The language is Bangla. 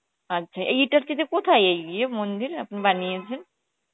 আচ্ছা, এইটার কে যে কথায় এই মন্দির আপনি বানিয়েছেন